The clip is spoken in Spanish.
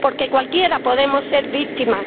Porque cualquiera podemos ser víctimas